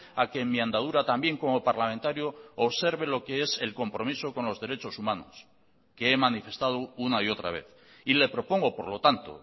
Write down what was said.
a que en mi andadura también como parlamentario observe lo que es el compromiso con los derechos humanos que he manifestado una y otra vez y le propongo por lo tanto